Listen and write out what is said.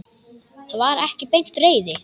Það var ekki beint reiði.